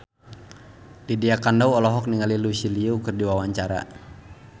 Lydia Kandou olohok ningali Lucy Liu keur diwawancara